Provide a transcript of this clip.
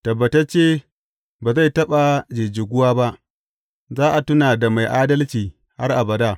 Tabbatacce ba zai taɓa jijjigu ba; za a tuna da mai adalci har abada.